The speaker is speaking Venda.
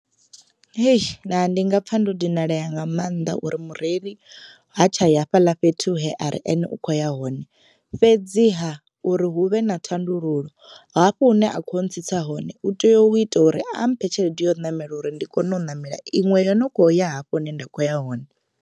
Hei naa ndi nga pfa ndo dinalea nga maanḓa uri mureili ha tsha ya hafhaḽa fhethu he ari ene u kho ya hone, fhedziha uri hu vhe na thandululo hafho hune a kho ntsitsa hone u tea u ita uri a mphe tshelede ya u ṋamela uri ndi kone u ṋamela iṅwe yo no kho ya hafho hune nda kho ya hone.